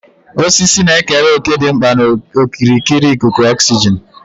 Osisi na-ekere òkè dị mkpa na okirikiri ikuku oxygen.